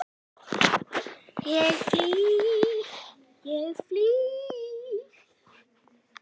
Eftir því hvað hver vill.